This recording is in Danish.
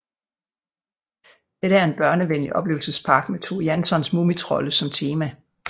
Dette er en børnevenlig oplevelsespark med Tove Janssons mumitrolde som tema